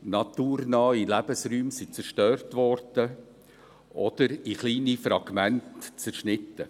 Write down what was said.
Naturnahe Lebensräume wurden zerstört oder in kleine Fragmente zerschnitten.